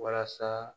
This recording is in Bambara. Walasa